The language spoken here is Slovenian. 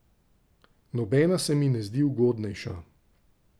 Nobena se mi ne zdi ugodnejša.